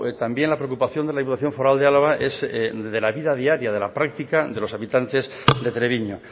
también la preocupación de la diputación foral de álava es de la vida diaria de la práctica de los habitantes de treviño